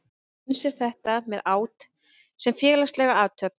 Eins er þetta með át sem félagslega athöfn.